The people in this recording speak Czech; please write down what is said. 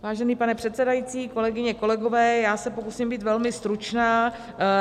Vážený pane předsedající, kolegyně, kolegové, já se pokusím být velmi stručná.